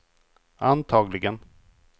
antagligen